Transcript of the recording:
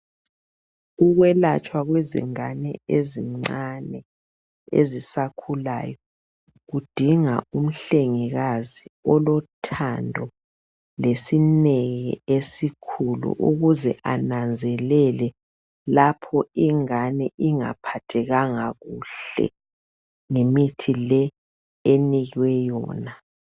Ukwelatshwa kwezingane ezincane ezisakhulayo kudinga umhlengikazi olothando lesineke esikhulu ukuze ananzelele lapho ingane ingaphathekanga kuhle ngemithi le enikwe yona.